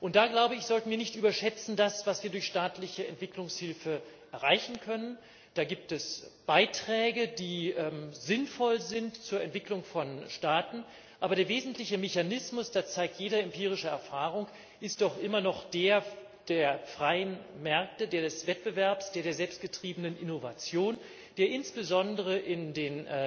Und da, glaube ich, sollten wir das, was wir durch staatliche Entwicklungshilfe erreichen können, nicht überschätzen. Da gibt es Beiträge, die sinnvoll sind zur Entwicklung von Staaten, aber der wesentliche Mechanismus, das zeigt jede empirische Erfahrung, ist doch immer noch der der freien Märkte, der des Wettbewerbs, der der selbstgetriebenen Innovation, der insbesondere in den